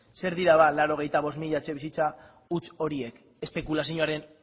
zer dira ba laurogeita bost mila etxebizitza huts horiek espekulazioaren